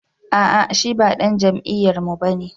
A'a shi ba dan jam'iyyarmu ba ne